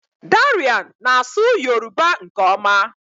Darian na-asụ Yoruba nke ọma